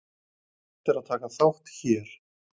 Hægt er að taka þátt hér.